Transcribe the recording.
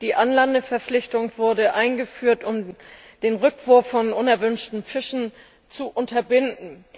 Die Anlandeverpflichtung wurde eingeführt, um den Rückwurf von unerwünschten Fischen zu unterbinden.